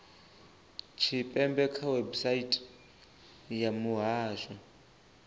tshipembe kha website ya muhasho